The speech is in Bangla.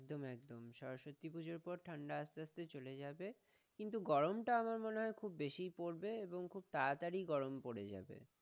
সরস্বতী পূজার পর ঠান্ডা আস্তে আস্তে চলে যাবে, কিন্তু গরম টা আমার মনে হয় খুব বেশি পড়বে, এবং তাড়াতাড়ি গরম পড়ে যাবে।